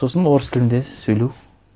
сосын орыс тілінде сөйлеу